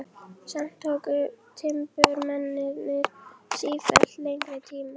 Samt tóku timburmennirnir sífellt lengri tíma.